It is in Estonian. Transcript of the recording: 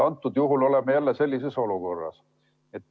Antud juhul oleme jälle sellises olukorras.